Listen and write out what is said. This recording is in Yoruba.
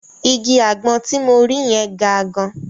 Igi àgbọn ti mo rí yẹn ga gan.